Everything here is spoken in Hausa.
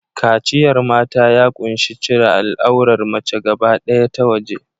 Kaciyar mata, ya ƙunshi cire al'aurar mace gaba ɗaya ta waje.